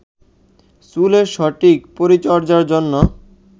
চুলের সঠিক পরিচর্চার জন্য